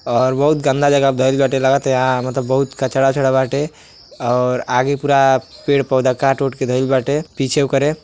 और बहुत गंदा जगह पे धईल बाटे। लागता आ बहुत कचड़ा ओचड़ा भी बाटे और आगे पूरा पेड़ पौधा काट के धईल बाटे आगे ओकरे।